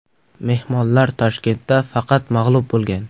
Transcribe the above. Mehmonlar Toshkentda faqat mag‘lub bo‘lgan.